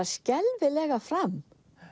skelfilega fram